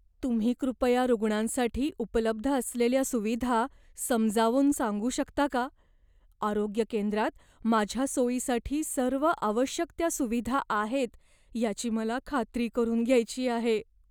तुम्ही कृपया रुग्णांसाठी उपलब्ध असलेल्या सुविधा समजावून सांगू शकता का? आरोग्य केंद्रात माझ्या सोयीसाठी सर्व आवश्यक त्या सुविधा आहेत याची मला खात्री करून घ्यायची आहे.